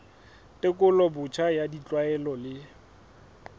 tekolo botjha ya ditlwaelo le